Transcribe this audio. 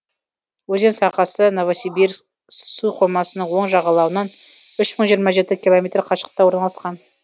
өзен сағасы новосибир суқоймасының оң жағалауынан үш мың жиырма жеті километр қашықтықта орналасқан